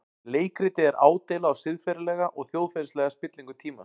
Leikritið er ádeila á siðferðilega og þjóðfélagslega spillingu tímans.